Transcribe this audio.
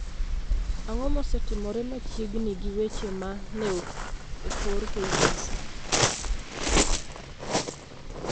Ang'o mosetimore machiegni gi weche ma ne okor KBC